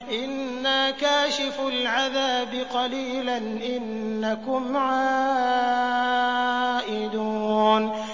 إِنَّا كَاشِفُو الْعَذَابِ قَلِيلًا ۚ إِنَّكُمْ عَائِدُونَ